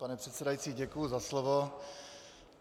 Pane předsedající, děkuji za slovo.